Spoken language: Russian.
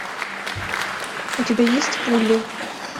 у тебя есть пули